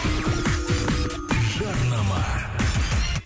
жарнама